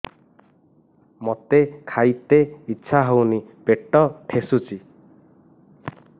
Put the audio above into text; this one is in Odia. ମୋତେ ଖାଇତେ ଇଚ୍ଛା ହଉନି ପେଟ ଠେସୁଛି